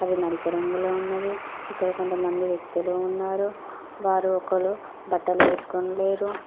అవి నలుపు రంగులో ఉన్నవి ఇక్కడ కొంత మంది వ్యక్తులు ఉన్నారు వారు ఒకరు బట్టలు వేసుకొని లేరు.